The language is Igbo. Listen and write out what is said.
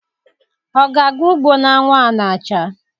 Ọ ga-aga ugbo n'anwụ a na-acha?